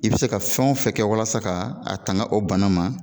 I be se ka fɛnw fɛn kɛ walasa ka a tanga o bana ma